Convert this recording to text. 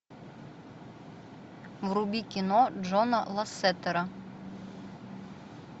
вруби кино джона лассетера